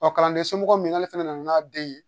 Ɔ kalanden somɔgɔ min ale fɛnɛ nana n'a den ye